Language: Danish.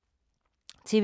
TV 2